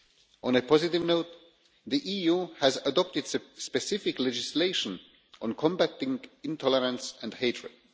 On a positive note, the EU has adopted specific legislation on combating intolerance and hatred.